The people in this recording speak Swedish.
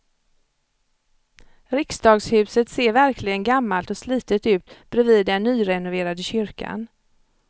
Riksdagshuset ser verkligen gammalt och slitet ut bredvid den nyrenoverade kyrkan.